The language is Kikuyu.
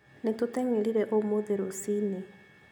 Nĩtũteng'erire ũmũthĩ rũci-inĩ